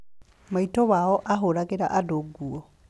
Maitũ wao aahũragĩra andũ nguo.